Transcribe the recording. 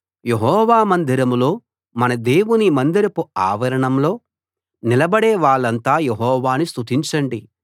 యెహోవా మందిరంలో మన దేవుని మందిరపు ఆవరణంలో నిలబడే వాళ్ళంతా యెహోవాను స్తుతించండి